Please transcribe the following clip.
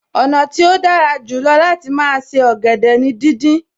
Ọ̀nà tí ó dára jù lọ láti máa se ọ̀gẹ̀dẹ̀ ni díndín